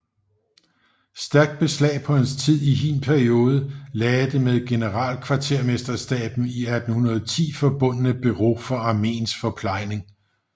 Stærkt beslag på hans tid i hin periode lagde det med generalkvartermesterstaben i 1810 forbundne Bureau for armeens forplejning